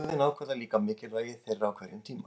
Röðin ákvarðar líka mikilvægi þeirra á hverjum tíma.